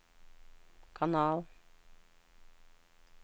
kanal